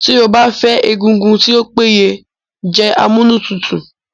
Tí o bá fẹ́ egungun tí o péye jẹ amúnútutù